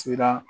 Sira